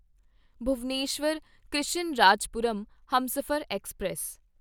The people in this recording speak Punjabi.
ਭੁਵਨੇਸ਼ਵਰ ਕ੍ਰਿਸ਼ਨਰਾਜਪੁਰਮ ਹਮਸਫ਼ਰ ਐਕਸਪ੍ਰੈਸ